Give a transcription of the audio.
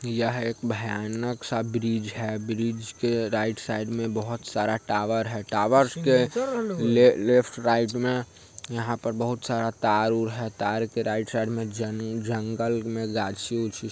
यह एक भयानक सा ब्रिज है| ब्रिज के राइट साइड में बहुत सारा टॉवर है| टॉवर्स के लेफ़ लेफ्ट राइट में यहा पर बहुत सारा तरवार है| तार के राइट साइड में जंग जंगल मे गाछी उछी--